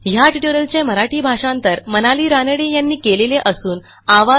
ह्या ट्युटोरियलचे मराठी भाषांतर मनाली रानडे यांनी केलेले असून आवाज